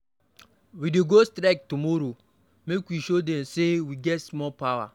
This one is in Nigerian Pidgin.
We dey go strike tomorrow, make we show de. Say we get small power.